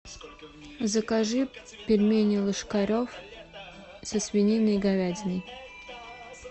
закажи пельмени ложкарев со свининой и говядиной